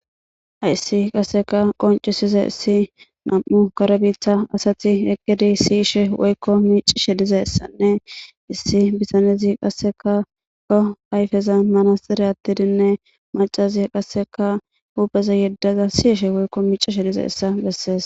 Hayssi qasseka qoncisiza issi nam'u karebiitha asati eqqidi siishe woykko miicishe dize essanne issi bisanezi qasseka ko ayfeza manasxire attidinne macazi qasseka hupeza yeddaza siishe woykko miicishe dize essa bessees.